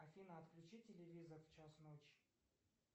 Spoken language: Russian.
афина отключи телевизор в час ночи